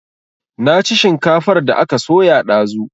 Na ci shinkafar da aka soya dazu